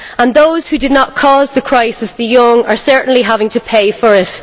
Those who did not cause the crisis the young are certainly having to pay for it.